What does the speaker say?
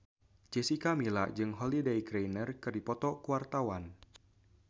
Jessica Milla jeung Holliday Grainger keur dipoto ku wartawan